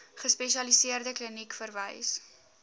gespesialiseerde kliniek verwys